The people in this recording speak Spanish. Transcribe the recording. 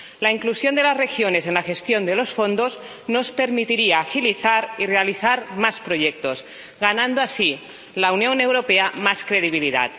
La inclusión de las regiones en la gestión de los fondos nos permitiría agilizar y realizar más proyectos, ganando así la Unión Europea más credibilidad.